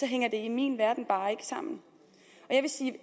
hænger det i min verden bare ikke sammen jeg vil sige